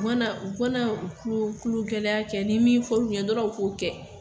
U kana u kana u kulo kulo gɛlɛya kɛ ni min fɔr'o ɲɛ dɔrɔn u k'o kɛ.